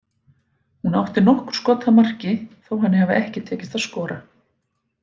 Hún átti nokkur skot að marki þó henni hafi ekki tekist að skora.